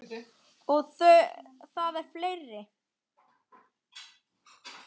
Og það eru fleiri.